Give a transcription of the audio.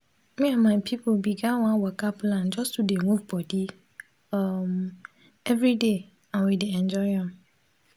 me and my pipo begin one waka plan just to dey move bodi um every day and we dey enjoy am